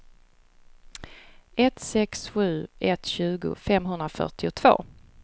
ett sex sju ett tjugo femhundrafyrtiotvå